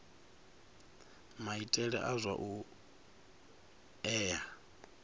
maitele a zwa u ea